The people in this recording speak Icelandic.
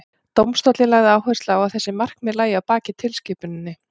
dómstóllinn lagði áherslu á að þessi markmið lægju að baki tilskipuninni